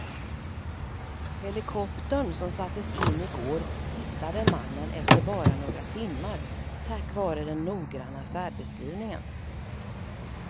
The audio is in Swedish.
Helikoptern som sattes in i går hittade mannen efter bara några timmar tack vare den noggranna färdbeskrivningen.